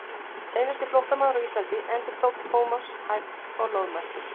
Seinasti flóttamaður á Íslandi endurtók Thomas hægt og loðmæltur.